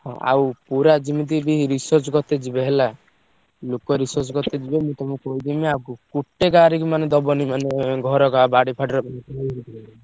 ହଁ ଆଉ ପୁରା ଯେମିତି ବି research କରିତେ ଯିବେ ହେଲା। ଲୋକ research କରିତେ ଯିବେ ମୁଁ ତମୁକୁ କହିଦେମି ଆଉ ପୁ ଗୋଟେ କାହାରିକି ମାନେ ଦବନି ମାନେ ଘର କାହା ବାଡି ଫାଡ଼ିରେ ।